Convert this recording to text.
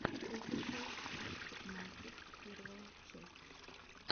офишел арктик манкис первая часть